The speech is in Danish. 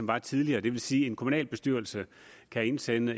der tidligere det vil sige at en kommunalbestyrelse kan indsende